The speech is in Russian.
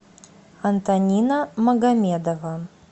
антонина магомедова